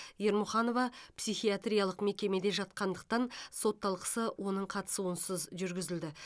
ермұханова психиатриялық мекемеде жатқандықтан сот талқысы оның қатысуынсыз жүргізілді